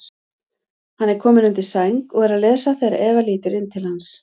Hann er kominn undir sæng og er að lesa þegar Eva lítur inn til hans.